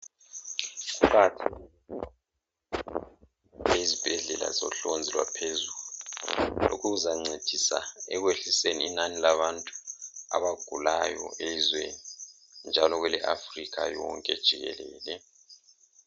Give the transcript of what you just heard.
Kuqakathekile ezibhedlela zohlonzi lwaphezu lokhu kuzancedisa ekwehliseni inani labantu abagulayo ezweni njalo kwele africa yonke jikelele